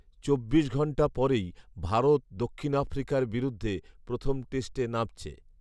চব্বিশ ঘন্টা পরেই ভারত দক্ষিণ আফ্রিকার বিরুদ্ধে প্ৰথম টেস্টে নামছে